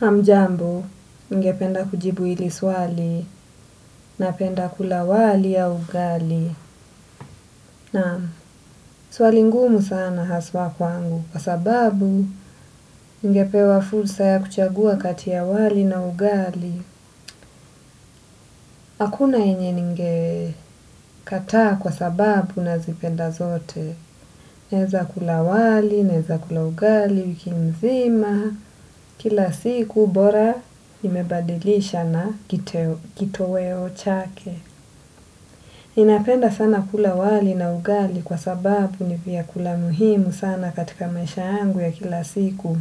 Hamjambu, ningependa kujibu hili swali napenda kula wali au ugali. Nam, swali ngumu sana haswa kwangu. Kwa sababu, ningepewa fursa ya kuchagua kati ya wali na ugali. Hakuna yenye ningekataa kwa sababu nazipenda zote. Naeza kula wali, naeza kula ugali, wiki mzima. Kila siku, bora imebadilisha na kitoweo chake. Napenda sana kula wali na ugali kwa sababu ni vyakula muhimu sana katika maisha yangu ya kila siku.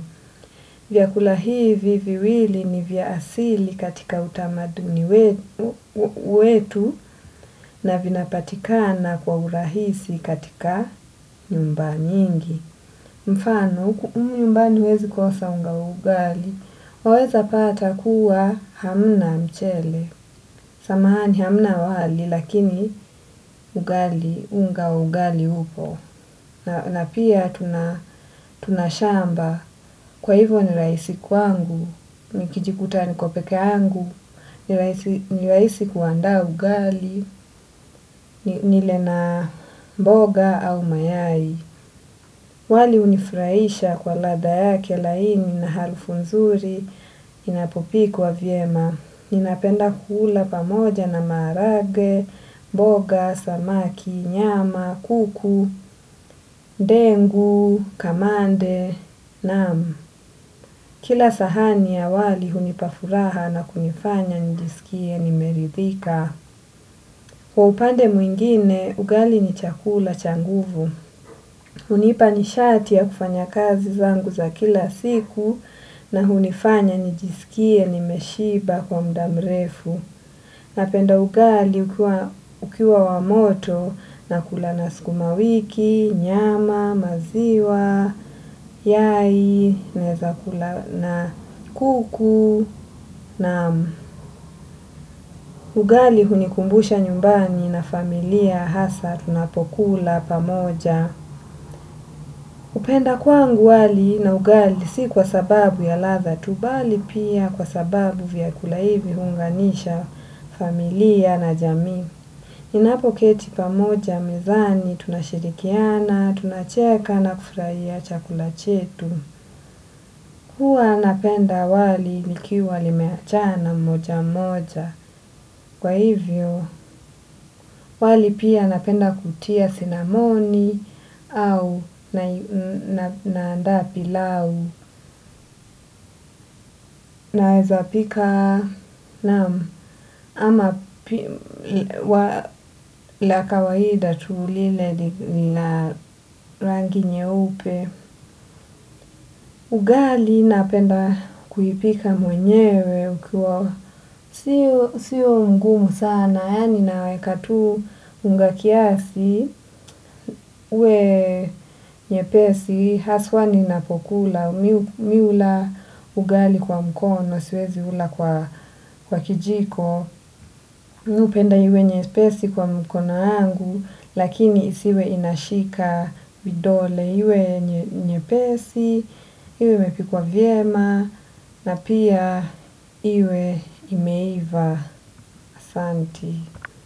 Vyakula hivi viwili ni vya asili katika utamaduni wetu na vinapatikana kwa urahisi katika nyumbani nyingi. Mfano, huku nyumbani huwezi kosa unga ya ugali. Waweza pata kuwa hamna mchele, samahani hamna wali, lakini ugali, unga wa ugali upo. Na pia tuna shamba kwa hivyo ninahisi kwangu nikijikuta niko peke yangu ni rahisi kuandaa ugali naula na mboga au mayai. Wali hunifurahisha kwa ladha yake laini na harufu nzuri inapopikwa vyema. Ninapenda kuula pamoja na maharage, mboga, samaki, nyama, kuku, ndengu, kamande, naam. Kila sahani ya wali hunipa furaha na kunifanya nijisikie nimeridhika. Kwa upande mwingine, ugali ni chakula cha nguvu. Huniipa nishati ya kufanya kazi zangu za kila siku na hunifanya nijisikie nimeshiba kwa muda mrefu. Napenda ugali ukiwa wa moto nakula na skuma wiki, nyama, maziwa, yai, naeza kula na kuku nam ugali hunikumbusha nyumbani na familia hasa tunapokula pamoja. Kupenda kwangu wali na ugali si kwa sababu ya ladha tu bali pia kwa sababu vyakula hivi huunganisha familia na jamii. Tunapoketi pamoja mezani tunashirikiana tunacheka na kufurahia chakula chetu. Huwa napenda wali likiwa limeachana moja moja. Kwa hivyo, wali pia napenda kutia sinamoni au naanda pilau. Naweza pika naam ama la kawahida tuu lile lina rangi nyeupe. Ugali napenda kuipika mwenyewe ukiwa. Sio mgumu sana, yani naweka tu unga kiasi uwe nyepesi, haswa ni napokula. Mi hula ugali kwa mkono, siwezi ula kwa kijiko. Mi hupenda iwe nyepesi kwa mikono yangu lakini isiwe inashika vidole iwe nyepesi iwe imepikwa vyema na pia iwe imeiva.